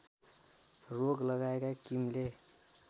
रोक लगाएका किमले